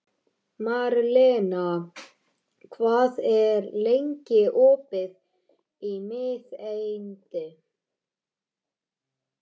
Marlena, hvað er lengi opið í Miðeind?